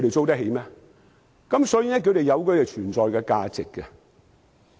所以，那是有存在價值的。